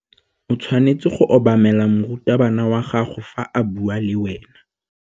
O tshwanetse go obamela morutabana wa gago fa a bua le wena.